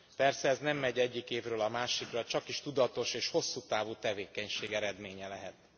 Persze ez nem megy egyik évről a másikra, csakis tudatos és hosszú távú tevékenység eredménye lehet.